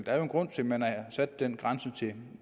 er jo en grund til man har sat den grænse til